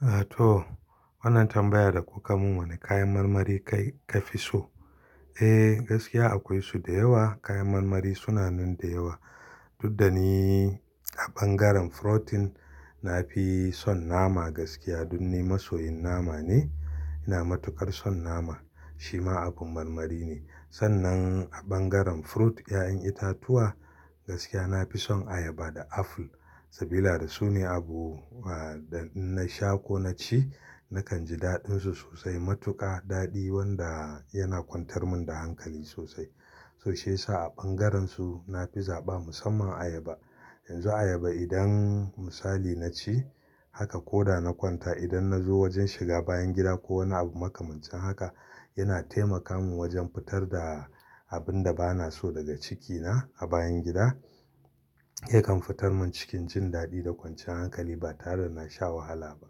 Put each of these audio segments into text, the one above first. A to, wannan tambayar da kuka mun wane kayan marmari kai ka fi so? Eh, gaskiya akwai su da yawa. Kayan marmari suna nan da yawa. Dudda ni a ɓangaren frotin na fi son nama gaskiya. Dun ni masoyin nama ne. Ina matuƙar son nama. Shi ma abin marmari ne. Sannan a ɓangaren fruit, 'ya'yan itatuwa gaskiya na fi son ayaba da apple. Sabila da su ne abu wadan da in na sha ko na ci, nakan ji daɗinsu sosai. Matuƙa daɗi wanda yana kwantar mun da hankali sosai. So shi ya sa a ɓangaren su na fi zaɓa musamman ayaba. Yanzu ayaba idan misali na ci haka ko da na kwanta idan na zo wajen shiga bayan gida ko wani abu makamancin haka, yana taimaka mun wajen fitar da abin da bana so daga cikina a bayan gida. Yakan fitar mun cikin jin daɗi da kwanci yan hankali ba tare da na sha wahala ba.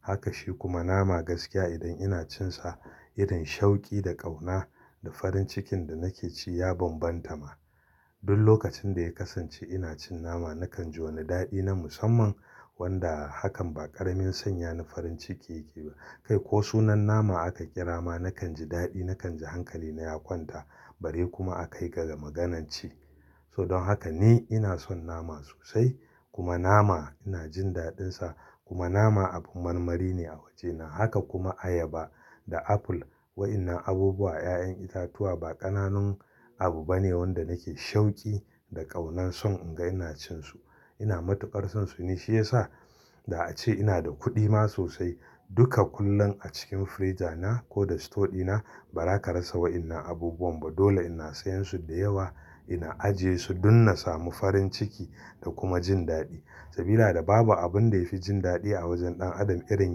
Haka shi kuma nama gaskiya idan ina cin sa irin shauki da ƙauna da farin cikin da nake ji ya bambanta ma. Dun lokacin da ya kasance ina cin nama nakan ji wani daɗi na musamman wanda hakan ba ƙaramin sanya ni farin ciki yake ba. Kai ko sunan nama aka kira ma nakan ji daɗi, nakan ji hankali na ya kwanta bare kuma a kai ga maganan ci. So don haka ni ina son nama sosai kuma nama ina jin daɗin sa kuma nama abin marmari ne a wajena. Haka kuma ayaba da apple. Wa'inna abubuwa, 'ya'yan itatuwa ba ƙananun abu bane wanda nake shauki da ƙaunan son in ga ina cin su. Ina matuƙar son su ne shi ya sa da ace ina da kuɗi ma sosai. Duka kullum a cikin frija na ko da store dina ba za ka rasa wa'inna abubuwan ba. Dole ina sayan su da yawa, ina ajiye su dun na samu farin ciki da kuma jin daɗi. Sabila da babu abin da ya fi jin daɗi a wajen ɗan adam irin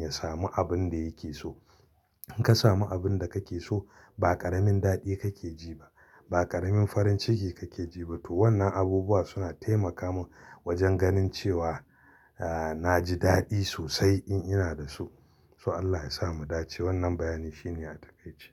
ya samu abin da yake so. In ka samu abin da kake so, ba ƙaramin daɗi kake ji ba. Ba ƙaramin farin ciki kake ji ba. To wannan abubuwa suna taimaka mun wajen ganin cewa a, na ji daɗi sosai in ina da su. So Allah ya sa mu dace. Wannan bayani shi ne Atakaitse.